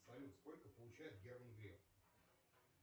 салют сколько получает герман греф